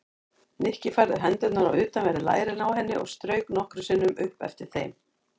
Nikki færði hendurnar á utanverð lærin á henni og strauk nokkrum sinnum upp eftir þeim.